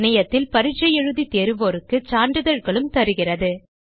இணையத்தில் பரிட்சை எழுதி தேர்வோருக்கு சான்றிதழ்களும் தருகிறது